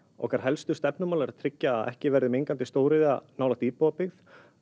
okkar helstu stefnumál eru að tryggja að ekki verði mengandi stóriðja nálægt íbúabyggð